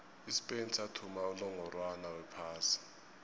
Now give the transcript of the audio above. ispain sathumba unongorwond wephasi